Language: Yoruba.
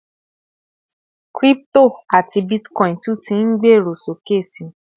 crypto ati Bitcoin tun tí n gbero sókè sí